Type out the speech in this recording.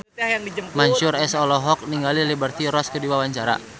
Mansyur S olohok ningali Liberty Ross keur diwawancara